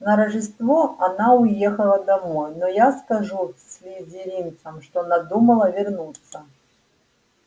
на рождество она уехала домой но я скажу слизеринцам что надумала вернуться